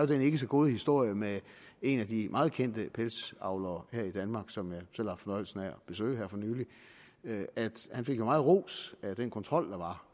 den ikke så gode historie med en af de meget kendte pelsdyravlere her i danmark som jeg selv har haft fornøjelsen af at besøge her for nylig at han fik meget ros af den kontrol der